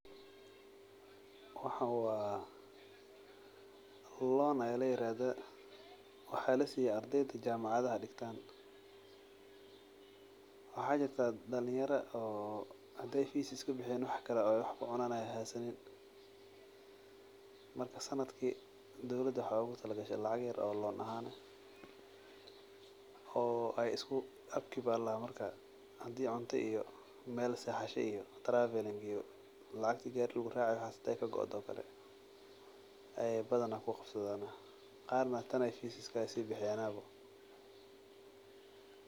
Waxan wa loan aya liyirahda waxa lasiya ardyda jamacada waxa jirta dalinyaro oo hadi ey fis iskabixiyan wax kale oo ey wax kucunan ey haysanin marka sanadki dowlada wexey ogutagashey lacag yar oo lon aha eh oo upkeep aya ladaha marka hadi cunto iyo meel sexasho iyo travelling hadey koodo ayey isticmlan qarna tan ayey fis iskahabixiyan.